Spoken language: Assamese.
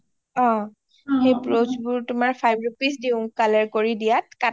সেই ব্ৰুঁজবোৰ তোমাৰ five rupees দিও colour কৰি দিয়াত